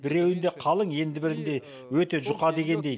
біреуінде қалың енді бірінде өте жұқа дегендей